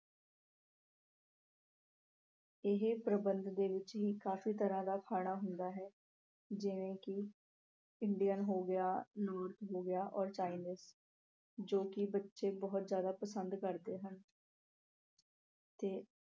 ਇਹ ਪ੍ਰਬੰਧ ਦੇ ਵਿੱਚ ਹੀ ਕਾਫੀ ਤਰ੍ਹਾਂ ਦਾ ਖਾਣਾ ਹੁੰਦਾ ਹੈ ਜਿਵੇਂ ਕਿ Indian ਹੋ ਗਿਆ, ਹੋ ਗਿਆ orChinese ਜੋ ਕਿ ਬੱਚੇ ਬਹੁਤ ਜਿਆਦਾ ਪਸੰਦ ਕਰਦੇ ਹਨ ਤੇ